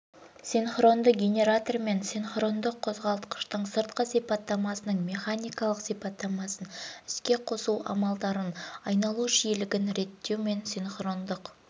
синхрондық генератор мен синхрондық қозғалтқыштың сыртқы сипаттамасының механикалық сипаттамасын іске қосу амалдарын айналу жиілігін реттеу мен синхрондық